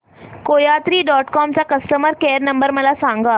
कोयात्री dot com चा customer care number मला सांगा